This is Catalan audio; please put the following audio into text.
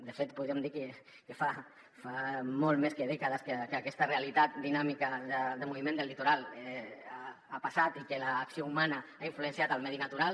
de fet podríem dir que fa molt més que dècades que aquesta realitat dinàmica de moviment del litoral ha passat i que l’acció humana ha influenciat el medi natural